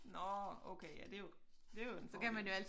Nårh okay ja det jo det jo en fordel